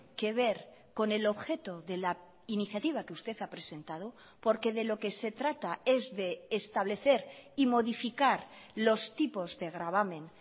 que ver con el objeto de la iniciativa que usted ha presentado porque de lo que se trata es de establecer y modificar los tipos de gravamen